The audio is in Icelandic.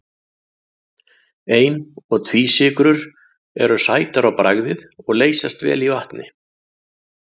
Ein- og tvísykrur eru sætar á bragðið og leysast vel í vatni.